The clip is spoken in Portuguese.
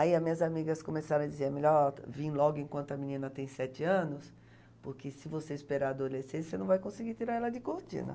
Aí as minhas amigas começaram a dizer, é melhor vim logo enquanto a menina tem sete anos, porque se você esperar a adolescência, você não vai conseguir tirar ela de Cortina.